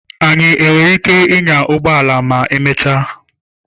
Anyị nwere ike ịnya ụgbọ ala ma emechaa.